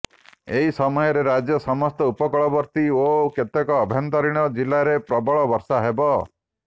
ଏହି ସମୟରେ ରାଜ୍ୟର ସମସ୍ତ ଉପକୂଳବର୍ତ୍ତୀ ଓ କେତେକ ଆଭ୍ୟନ୍ତରୀଣ ଜିଲ୍ଲାରେ ପ୍ରବଳ ବର୍ଷା ହେବ